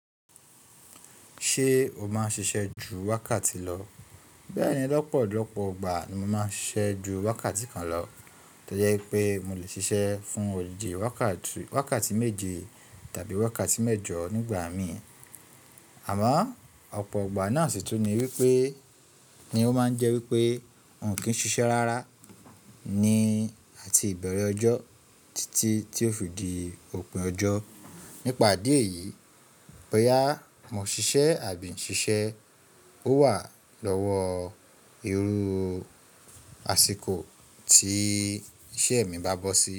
Ṣé o máa ń ṣiṣẹ́ ju wákàtí lọ? Bẹ́ẹ̀ni, lọ́pọ̀lọpọ̀ ọgbà ni mo máa ń ṣiṣẹ́ ju wákàtí kan lọ, tó jẹ́ ipé mo lè ṣiṣẹ́ fún òdì di wákàtí méje tàbí wákàtí mẹ́jọ nígbà mi. Àmọ́ ọ̀pọ̀ ọgbà náà sì tún ní wípé, ni ó máa ń jẹ́ wípé wọn kì í ṣiṣẹ́ rárá ní àti ìbẹ̀rẹ̀ ọjọ́ títí tí ó fi di òpin ọjọ́. Nípa ìdí ẹ̀yìí, bóyá mo ṣiṣẹ́ àbí n ṣiṣẹ́, ó wà lọ́wọ́ irú àsìkò tí iṣẹ́ mi bá bọ́ sí.